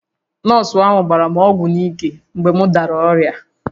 Nọọsụ ahụ gbara m ọgwụ n’ike mgbe m dara ọrịa